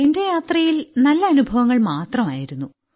എന്റെ യാത്രയിൽ നല്ല അനുഭവങ്ങൾ മാത്രമായിരുന്നു